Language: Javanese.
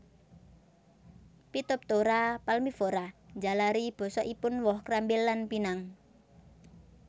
Phytophthora palmivora njalari bosokipun woh krambil lan pinang